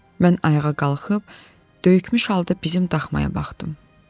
Mən ayağa qalxıb döyükmüş halda bizim daxmaya baxdım.